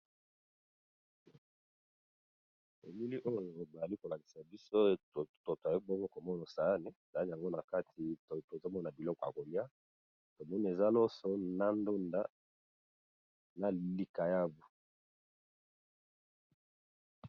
Elili oyo bazali kolakisa biso eza toyebemo komono saane za yango na kati tozamona biloko ya kolia tomoni eza lonso na ndonda na likayavu